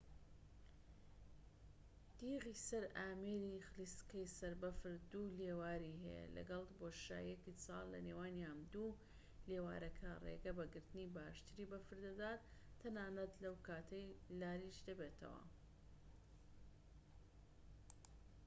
تیغی سەر ئامێری خلیسکەی سەربەفر دوو لێواری هەیە لەگەڵ بۆشاییەکی چاڵ لە نێوانیان دوو لێوارەکە ڕێگە بە گرتنی باشتری بەفر دەدات تەنانەت لەو کاتەی لاریش دەبێتەوە